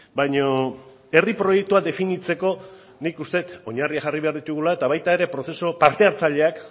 baina herri proiektua definitzeko nik uste dut oinarriak jarri behar ditugula eta baita ere prozesu parte hartzaileak